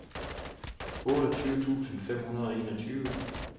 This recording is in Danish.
otteogtyve tusind fem hundrede og enogtyve